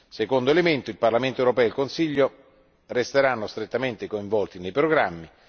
Secondo il Parlamento europeo e il Consiglio resteranno strettamente coinvolti nei programmi.